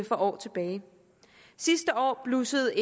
for år tilbage sidste år blussede